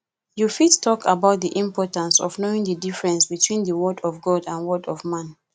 you fit talk about di importance of knowing di difference between di word of god and word of man